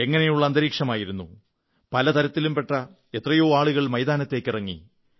എങ്ങനെയുള്ള അന്തരീക്ഷമായിരുന്നു പല തരത്തിലും പെട്ട എത്രയോ ആളുകൾ മൈതാനത്തേക്കിറങ്ങി